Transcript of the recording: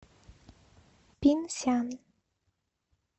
пинсян